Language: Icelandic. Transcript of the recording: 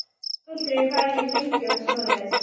Aldrei farið í hringi og svoleiðis.